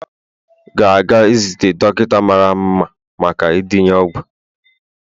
ga-aga izute dọkịta mara mma maka ndenye ọgwụ